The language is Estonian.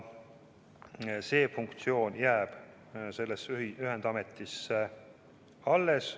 See funktsioon jääb sellele ühendametile alles.